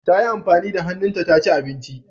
Tayi amfani da hannunta taci abinci.